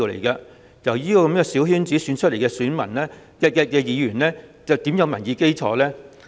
因此，由小圈子選出來的議員又怎會有民意基礎？